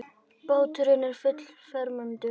Báturinn er fullfermdur.